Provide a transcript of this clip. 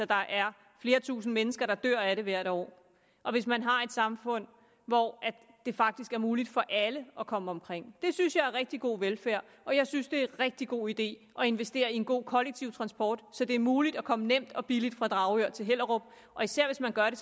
der er flere tusinde mennesker der dør af det hvert år og hvis man har et samfund hvor det faktisk er muligt for alle at komme omkring det synes jeg er rigtig god velfærd og jeg synes det er en rigtig god idé at investere i en god kollektiv transport så det er muligt at komme nemt og billigt fra dragør til hellerup og især hvis man gør det